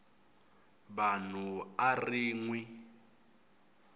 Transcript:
vanhu a ri n wi